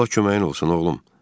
Allah köməyin olsun, oğlum.